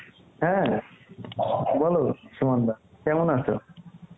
হ্যাঁ বলো সুমন দা কেমন আছো?